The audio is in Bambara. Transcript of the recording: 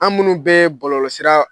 An' munnu bɛɛ bɔlɔlɔsira